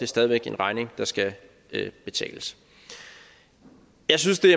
stadig væk en regning der skal betales jeg synes det